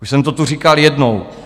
Už jsem to tu říkal jednou.